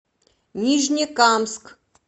нижнекамск